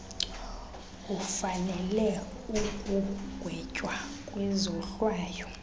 ufanele ukugwetywa kwizohlwayo